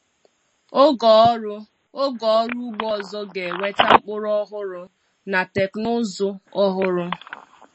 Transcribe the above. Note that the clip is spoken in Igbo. Oge ọrụ Oge ọrụ ugbo ọzọ ga-eweta mkpụrụ ọhụrụ na teknụzụ ọhụrụ.